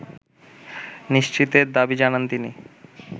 নিশ্চিতের দাবি জানান তিনি